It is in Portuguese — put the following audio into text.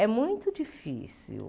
É muito difícil.